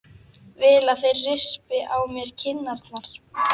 Vil að þeir rispi á mér kinnarnar.